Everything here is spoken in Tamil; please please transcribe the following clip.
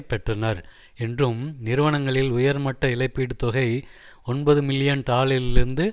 பெற்றனர் என்றும் நிறுவனங்களில் உயர்மட்ட இழப்பீட்டு தொகை ஒன்பது மில்லியன் டாலரிலிருந்து